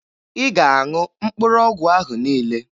Ị ga-aṅụ mkpụrụ ọgwụ ahụ niile!